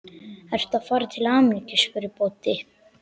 Ertu að fara til Ameríku? spurði Böddi.